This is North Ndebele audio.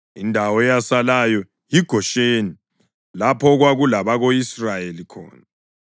Indawo eyasilayo yiGosheni lapho okwakulabako-Israyeli khona.